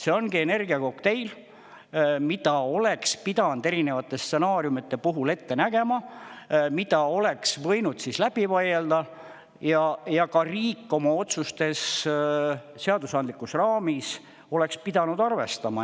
See ongi energiakokteil, mida oleks pidanud erinevate stsenaariumide puhul ette nägema, mida oleks siis võinud läbi vaielda ja ka riik oma otsustes seadusandlikus raamis oleks pidanud arvestama.